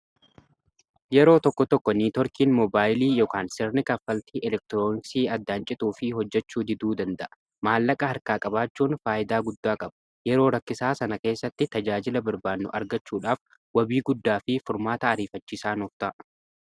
yeroo tokko tokko niitorkiin moobaayilii yk sirni kaffaltii elektiroonisii addaancituu fi hojjechuu diduu danda'a maallaqa harkaa-qabaachuun faayidaa guddaa qabu yeroo rakkisaa sana keessatti tajaajila barbaanno argachuudhaaf wabii guddaa fi furmaata ariifachiisaa nuufta'a